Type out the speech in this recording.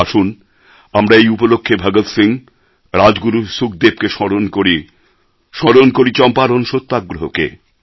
আসুন আমরা এই উপলক্ষে ভগৎ সিংহ রাজগুরু সুখদেবকে স্মরণ করি স্মরণ করি চম্পারণ সত্যাগ্রহকে